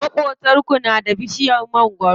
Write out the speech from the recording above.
Maƙotanku na da bishiyar mangwaro?